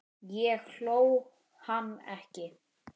Ég hló, hann ekki.